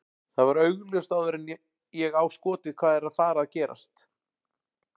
Það var augljóst áður en að ég á skotið hvað er að fara að gerast.